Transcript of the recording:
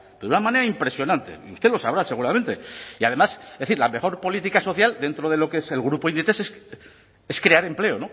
de una manera impresionante y usted lo sabrá seguramente y además la mejor política social dentro de lo que es el grupo inditex es crear empleo